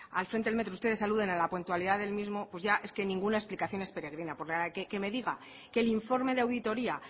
al frente del metro ustedes aluden a la puntualidad del mismo ya es que ninguna explicación es peregrina porque que me diga que el informe de auditoria